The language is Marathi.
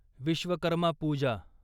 विश्वकर्मा पूजा